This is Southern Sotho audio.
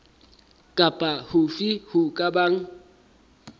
kapa hofe ho ka bang